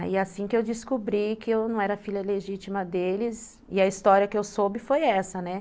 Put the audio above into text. Aí, assim que eu descobri que eu não era filha legítima deles, e a história que eu soube foi essa, né.